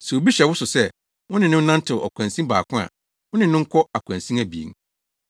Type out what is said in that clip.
Sɛ obi hyɛ wo sɛ, wo ne no nnantew ɔkwansin baako a, wo ne no nkɔ akwansin abien.